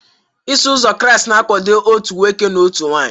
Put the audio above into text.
Iso Ụzọ Kraịst na-akwado otu nwoke, otu nwunye